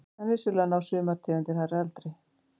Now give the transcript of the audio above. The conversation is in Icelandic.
En vissulega ná sumar tegundir hærri aldri.